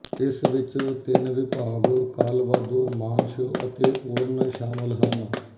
ਇਸ ਵਿੱਚ ਤਿੰਨ ਵਿਭਾਗਕਾਲਵਾਦੋ ਮਾਂਸ਼ ਅਤੇ ਓਰਨਸ਼ਾਮਲ ਹਨ